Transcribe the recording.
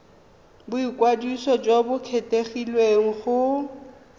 boikwadiso jo bo kgethegileng go